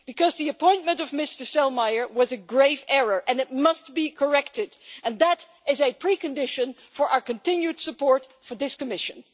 The appointment of Mr Selmayr was a grave error and it must be corrected, and that is a precondition for our continued support for this Commission.